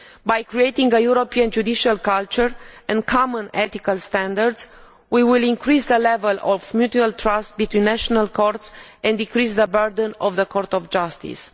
By creating a European judicial culture and common ethical standards, we will increase the level of mutual trust between national courts and decrease the burden of the Court of Justice.